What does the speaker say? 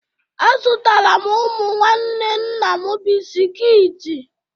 Azụtara m ụmụ nwanne nna m bisiki